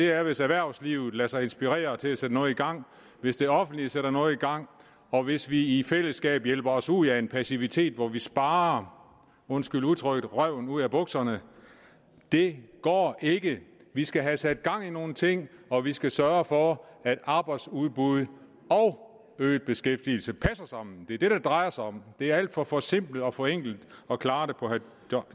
er hvis erhvervslivet lader sig inspirere til at sætte noget i gang hvis det offentlige sætter noget i gang og hvis vi i fællesskab hjælper os ud af en passivitet hvor vi sparer undskyld udtrykket røven ud af bukserne det går ikke vi skal have sat gang i nogle ting og vi skal sørge for at arbejdsudbud og øget beskæftigelse passer sammen det er det det drejer sig om det er alt for forsimplet og forenklet at klare det på herre